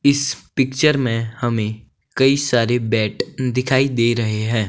इस पिक्चर में हमें कई सारी बेड दिखाई दे रहे हैं।